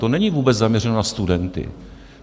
To není vůbec zaměřeno na studenty.